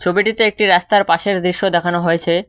ছবিটিতে একটি রাস্তার পাশের দৃশ্য দেখানো হয়েছে।